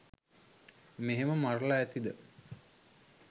මෙහෙම මරල ඇතිද.